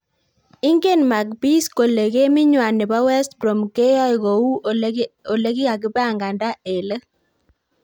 Igeni Magpies kole geminywan nebo West Brom keyoe kou ole kigakipanganda en let